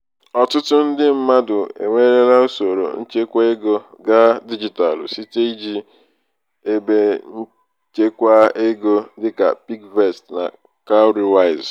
ọtụtụ ndị mmadụ ewerela usoro nchekwaego gaa dijitalụ site iji ebenchekwaego dịka piggyvest na cowrywise.